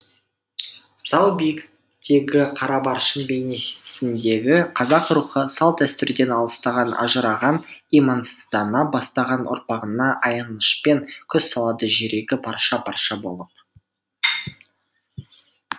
зау биіктегі қара баршын бейнесіндегі қазақ рухы салт дәстүрден алыстаған ажыраған имансыздана бастаған ұрпағына аянышпен көз салады жүрегі парша парша болып